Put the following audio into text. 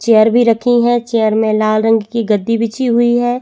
Chair भी रखी है चेयर में लाल रंग की गद्दी बिछी हुई है।